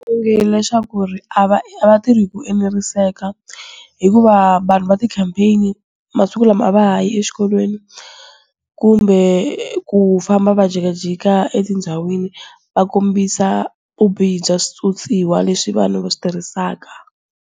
Onge leswaku ku ri, a va a va vatirhi hi ku eneriseka. Hikuva vanhu va campaign-i, masiku lama a va ha yi exikolweni, kumbe ku famba va jikajika etindhawini va kombisa vu bihi bya swiphyophyiwa leswi vanhu va switirhisaka.